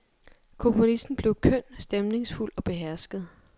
Komponisten blev køn, stemningsfuld og behersket.